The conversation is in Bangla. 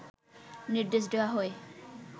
নির্দেশ দেওয়া হয়